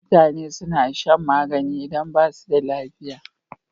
Mutane suna shan magani idan basu da lafiya